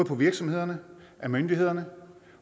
fra virksomhederne myndighederne